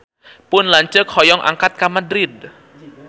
Pun lanceuk hoyong angkat ka Madrid